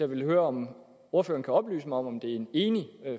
vil høre om ordføreren kan oplyse mig om om det er en enig